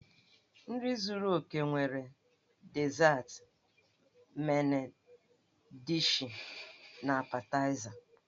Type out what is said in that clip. Nri zúrú óké nwere dizat, men dishi, na apetaịza.